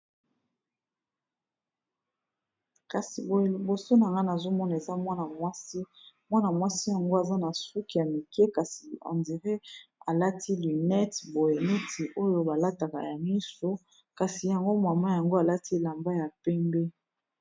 kasi boye liboso na ngana azomona eza mwana mwasi mwana-mwasi yango aza na suk ya mike kasi endiré alati lunete boyeniti oyo balataka ya mislo kasi yango mwama yango alati elamba ya pembe